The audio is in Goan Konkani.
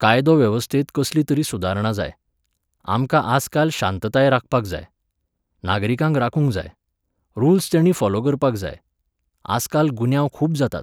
कायदो वेवस्थेंत कसली तरी सुदारणां जाय. आमकां आजकाल शांतताय राखपाक जाय. नागरिकांक राखूंक जाय. रुल्स तेणीं फोलो करपाक जाय. आजकाल गुन्यांव खूब जातात.